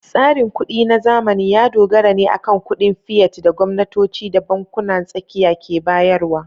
Tsarin kuɗi na zamani ya dogara ne akan kuɗin fiat da gwamnatoci da bankunan tsakiya ke bayarwa.